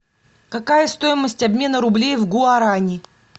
какая стоимость обмена рублей в гуарани